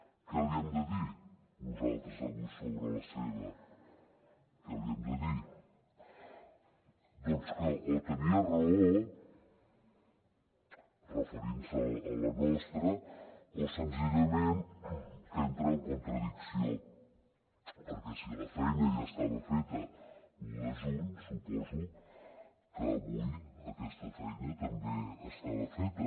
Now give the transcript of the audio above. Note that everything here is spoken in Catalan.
què li hem de dir nosaltres avui sobre la seva què li hem de dir doncs que o tenia raó referint se a la nostra o senzillament que entra en contradicció perquè si la feina ja estava feta l’un de juny suposo que avui aquesta feina també està feta